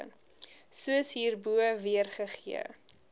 soos hierbo weergegee